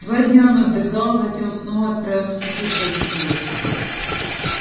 два дня он отдыхал затем снова отправился путешествовать